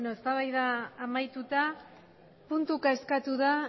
eztabaida amaituta puntuka eskatu da